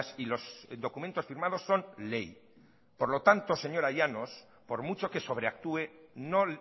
y los documentos firmados son ley por lo tanto señora llanos por mucho que sobreactúe no